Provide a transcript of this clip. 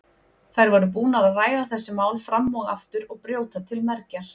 Þær voru búnar að ræða þessi mál fram og aftur og brjóta til mergjar.